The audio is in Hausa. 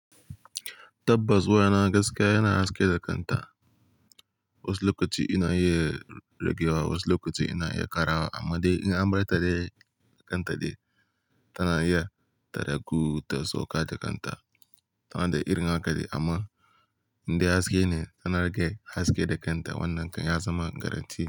Tabbas waya na gaskiya yana haske da kanta. Wasu lokaci inaiya ragewa, wasu lokaci ina iya ƙarawa, amma dai in an bar ta dai kanta ɗai, tana iya ta ragu ta sauka da kan ta. Tana da irin haka dai amma in dai haske ne, tana rage haske da kan ta. Wannan kai ya zama garantti.